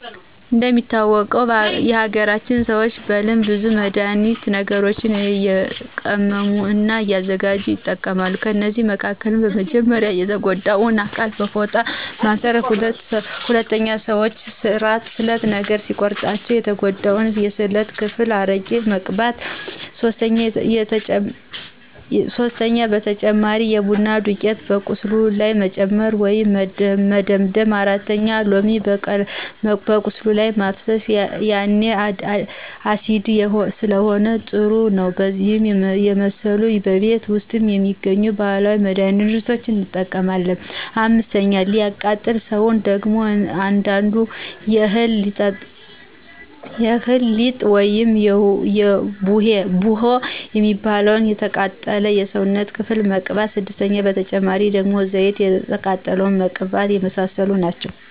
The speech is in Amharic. እንደሚታወቀው የሀገራችን ሰዎች በልምድ ብዙ መድሀኒት ነገሮችንእየቀመሙ እና እያዘጋጅ ይጠቀማሉ ከእነዚህ መካከልም። 1 :-በመጀመርያ የተጎዳውን አካል በፎጣ ማስር 2:-ሰዎች ስለት ነገር ሲቆርጣቸው የተጎዳው የስውነት ክፍል አረቂ መቅባት 3:-በተጨማሪ የቡና ዱቂት በቁስሉ ላይ መጨመር ወይም መደምደም 4:-ሎሚ በቁስሉ ላይ ማፍሰሰ ያኔ አሲዲክ ስለሆነ ጥሩ ነው እነዚህን የመሰሉ በቤት ውስጥ የሚገኙ ባህላዊ መድህኒቶችን እንጠቀማለን። 5፦ ለሚቃጠል ሰው ደግሞ አንዳንዱ የእህል ሊጥ ውይም ቡሆ የሚባለውን የተቃጠለው የሰውነት ክፍል መቅባት 6:- በተጨማሪ ደግሞ ዘይት የተቃጠለውን መቀባተ የመሳሰሉት ናቸው